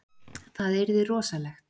Það yrði rosalegt.